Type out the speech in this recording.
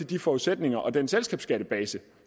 de forudsætninger og den selskabsskattebase